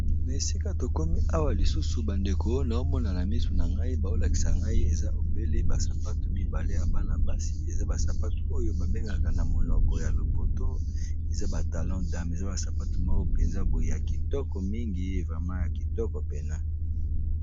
Na esika tokomi awa lisusu bandeko wana omona na misu na ngai baolakisa ngai eza obele basapate mibale ya bana basi eza basapate oyo babengaka na monoko ya lopoto eza batalon dame eza basapate moko mpenza boe ya kitoko mingi evrema ya kitoko pene.